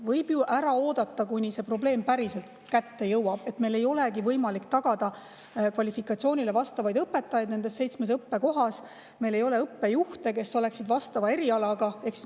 Võib ju ära oodata, kuni probleem päriselt kätte jõuab ning meil ei olegi võimalik tagada kvalifikatsiooniga õpetajaid nendes seitsmes õppekohas ja meil ei ole õppejuhte, kes oleksid vastava eriala.